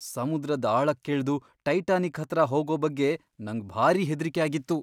ಸಮುದ್ರದ್ ಆಳಕ್ಕಿಳ್ದು ಟೈಟಾನಿಕ್ ಹತ್ರ ಹೋಗೋ ಬಗ್ಗೆ ನಂಗ್ ಭಾರಿ ಹೆದ್ರಿಕೆ ಆಗಿತ್ತು.